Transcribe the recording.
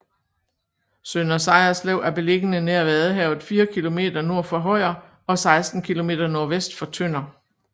Sønder Sejerslev er beliggende nær Vadehavet fire kilometer nord for Højer og 16 kilometer nordvest for Tønder